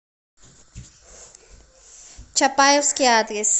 чапаевский адрес